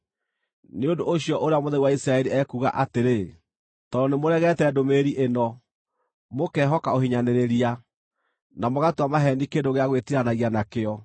Nĩ ũndũ ũcio Ũrĩa Mũtheru wa Isiraeli ekuuga atĩrĩ: “Tondũ nĩmũregete ndũmĩrĩri ĩno, mũkehoka ũhinyanĩrĩria, na mũgatua maheeni kĩndũ gĩa gwĩtiiranagia nakĩo,